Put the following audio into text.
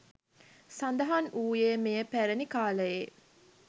සඳහන් වූයේ මෙය පැරැණි කාලයේ